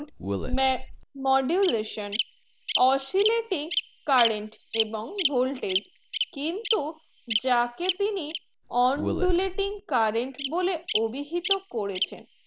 may modulation oscillating current এবং voltage কিন্তু যাকে তিনি on do letting current বলে অভিহিত করেছেন